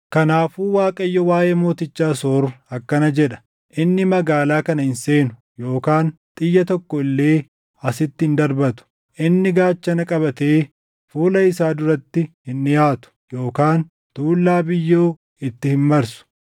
“Kanaafuu Waaqayyo waaʼee mooticha Asoor akkana jedha: “ ‘Inni magaalaa kana hin seenu yookaan xiyya tokko illee asitti hin darbatu. Inni gaachana qabatee fuula isaa duratti hin dhiʼaatu yookaan tuullaa biyyoo itti hin marsu.